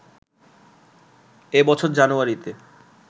এ বছর জানুয়ারিতে